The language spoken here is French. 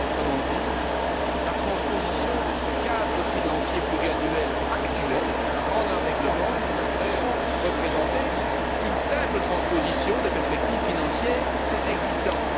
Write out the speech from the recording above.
Autrement dit, la transposition du cadre financier pluriannuel actuel en un règlement ne devrait représenter qu'une simple transposition des perspectives financières existantes.